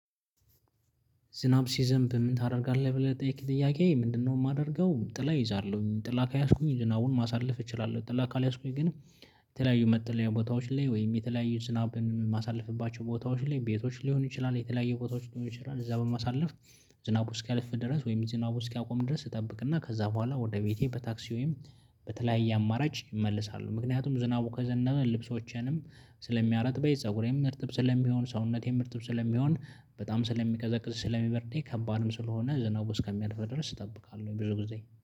ዝናብ ሲዘንብ ምን ታደርጋለህ ብለህ ጥያቄ ምንድነው? የማደርገው ጥላ ይይዛለሁ ጥላ ከያዝኩኝ ዝናውን ማሳለፍ እችላለሁ ጥላ ካልያዝኩኝ ግን። የተለያዩ መጥለያ ቦታዎች ላይ ወይም የተለያዩ ዝናብን ማሳለፍባቸው ቦታዎች ላይ ቤቶች ሊሆን ይችላል የተለያየ ቦታዎች ሊሆን ይችላል እዛ በማሳለፍ። ዝናቡ እስኪያለፍ ድረስ ወይም ዝናቡ እስኪያቆም ድረስ እጠብቅና ከዛ በኋላ ወደ ቤቴ በታክሲ ወይም በተለያየ አማራጭ እመልሳሉ። ምክንያቱም ዝናቡ ከዘነበ ልብሶችንም ስለሚያረጥበይ ፀጉሬም እርጥብ ስለሚሆን ሰውነቴም እርጥብ ስለሚሆን በጣም ስለሚቀዘቅዝ ስለሚበርደኝ ከባድም ስለሆነ ዝናው እስከሚያልፍ ድረስ እጠብቃለሁ። ወይ ብዙ ጊዜ